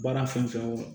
Baara fɛn fɛn o